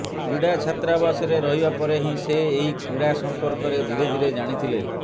କ୍ରୀଡ଼ା ଛାତ୍ରାବାସରେ ରହିବା ପରେ ହିଁ ସେ ଏହି କ୍ରୀଡ଼ା ସମ୍ପର୍କରେ ଧିରେଧିରେ ଜାଣିଥିଲେ